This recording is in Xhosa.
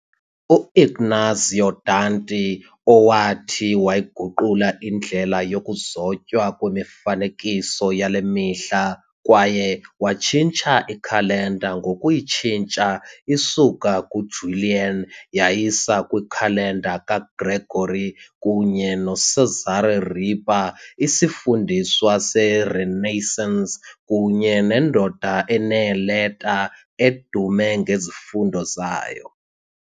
u-Ignazio Danti, owathi wayiguqula indlela yokuzotywa kwemifanekiso yale mihla kwaye wayitshintsha ikhalenda ngokuyitshintsha isuka kwiJulian yayisa kwikhalenda kaGregory kunye noCesare Ripa, isifundiswa seRenaissance kunye nendoda eneeleta, edume ngezifundo zayo.